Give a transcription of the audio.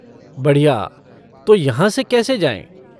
बढ़िया, तो यहाँ से कैसे जाएँ?